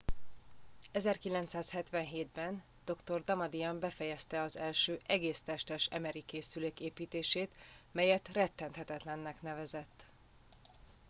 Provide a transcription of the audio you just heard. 1977 ben dr. damadian befejezte az első egész testes mri készülék építését melyet rettenthetetlennek nevezett